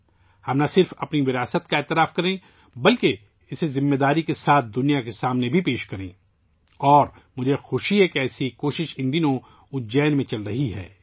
آئیے ، ہم اپنے ورثے کو نہ صرف قبول کریں بلکہ اسے ذمہ داری کے ساتھ دنیا کے سامنے پیش کریں اور مجھے خوشی ہے کہ ایسی ہی ایک کوشش ، ان دنوں اجین میں چل رہی ہے